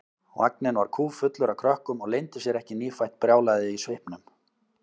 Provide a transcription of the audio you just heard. Vagninn var kúffullur af krökkum og leyndi sér ekki nýfætt brjálæðið í svipnum.